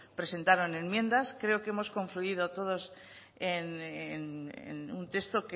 presentaron enmiendas creo que hemos confluido todos en un texto